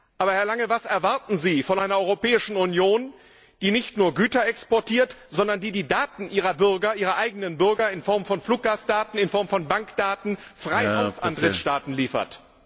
Aber Herr Lange Was erwarten Sie von einer Europäischen Union, die nicht nur Güter exportiert, sondern die die Daten ihrer eigenen Bürger in Form von Fluggastdaten, in Form von Bankdaten frei an Drittstaaten liefert?